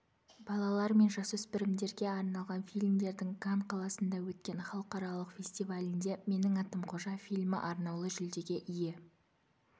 балалар мен жасөспірімдерге арналған фильмдердің кан қаласында өткен халықаралық фестивалінде менің атым қожа фильмі арнаулы жүлдеге ие